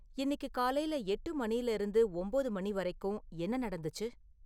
இன்னிக்கு காலையில எட்டு மணியில இருந்து ஒம்போது மணி வரைக்கும் என்ன நடந்துச்சு?